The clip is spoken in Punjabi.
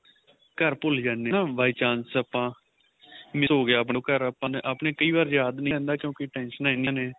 ਘਰ ਭੁੱਲ ਜਾਣੇ ਆ ਨਾ by chance ਆਪਾਂ miss ਹੋ ਗਿਆ ਆਪਣੇ ਤੋਂ ਘਰ ਆਪਣੇ ਕਈ ਵਾਰ ਯਾਦ ਨਹੀਂ ਰਹਿੰਦਾ ਆਪਣੇ ਟੇਨਸ਼ਣਾ ਇੰਨੀਆਂ ਨੇ